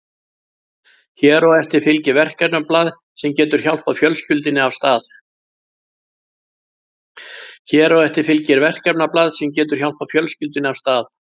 Hér á eftir fylgir verkefnablað sem getur hjálpað fjölskyldunni af stað.